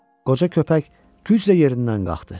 Qoca köpək güclə yerindən qalxdı.